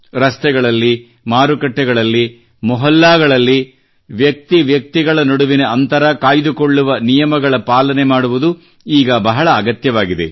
ರಸ್ತೆಗಳಲ್ಲಿ ಮಾರುಕಟ್ಟೆಗಳಲ್ಲಿ ಮೊಹಲ್ಲಾಗಳಲ್ಲಿ ಭೌತಿಕ ಅಂತರ ಕಾಯ್ದುಕೊಳ್ಳುವ ನಿಯಮಗಳ ಪಾಲನೆ ಮಾಡುವುದು ಈಗ ಬಹಳ ಅಗತ್ಯವಾಗಿದೆ